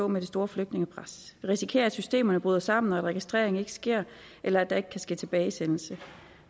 med det store flygtningepres vi risikerer at systemerne bryder sammen og at registrering ikke sker eller at der ikke kan ske tilbagesendelse